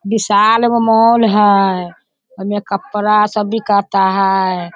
विशाल एगो मॉल है। उमे कपड़ा सब बिकाता है।